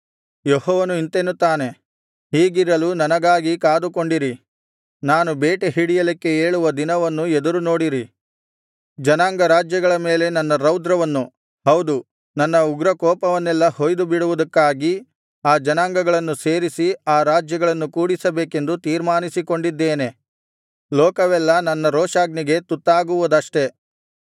ಯೆಹೋವನು ಇಂತೆನ್ನುತ್ತಾನೆ ಹೀಗಿರಲು ನನಗಾಗಿ ಕಾದುಕೊಂಡಿರಿ ನಾನು ಬೇಟೆಹಿಡಿಯಲಿಕ್ಕೆ ಏಳುವ ದಿನವನ್ನು ಎದುರುನೋಡಿರಿ ಜನಾಂಗರಾಜ್ಯಗಳ ಮೇಲೆ ನನ್ನ ರೌದ್ರವನ್ನು ಹೌದು ನನ್ನ ಉಗ್ರಕೋಪವನ್ನೆಲ್ಲಾ ಹೊಯ್ದು ಬಿಡುವುದಕ್ಕಾಗಿ ಆ ಜನಾಂಗಗಳನ್ನು ಸೇರಿಸಿ ಆ ರಾಜ್ಯಗಳನ್ನು ಕೂಡಿಸಬೇಕೆಂದು ತೀರ್ಮಾನಿಸಿಕೊಂಡಿದ್ದೇನೆ ಲೋಕವೆಲ್ಲಾ ನನ್ನ ರೋಷಾಗ್ನಿಗೆ ತುತ್ತಾಗುವುದಷ್ಟೇ